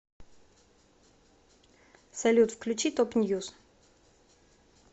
салют включи топ ньюз